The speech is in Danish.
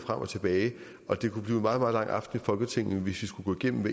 frem og tilbage og det kunne blive en meget meget langt aften i folketinget hvis vi skulle gennemgå